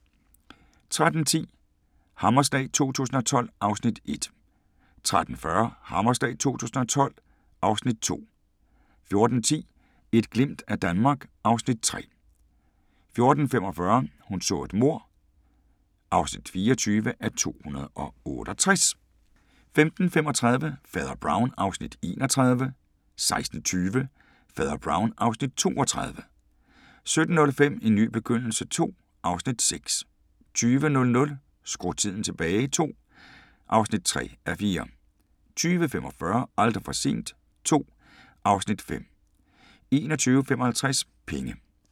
13:10: Hammerslag 2012 (Afs. 1) 13:40: Hammerslag 2012 (Afs. 2) 14:10: Et glimt af Danmark (Afs. 3) 14:45: Hun så et mord (24:268) 15:35: Fader Brown (Afs. 31) 16:20: Fader Brown (Afs. 32) 17:05: En ny begyndelse II (Afs. 6) 20:00: Skru tiden tilbage II (3:4) 20:45: Aldrig for sent II (Afs. 5) 21:55: Penge